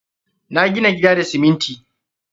Na gina gida da siminti.